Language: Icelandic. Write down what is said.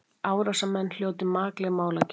Árásarmenn hljóti makleg málagjöld